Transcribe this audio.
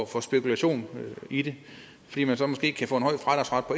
for spekulation i det fordi man så måske kan få